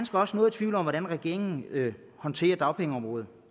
også noget i tvivl om hvordan regeringen håndterer dagpengeområdet